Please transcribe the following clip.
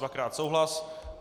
Dvakrát souhlas.